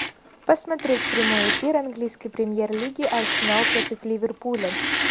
посмотреть прямой эфир английской премьер лиги арсенал против ливерпуля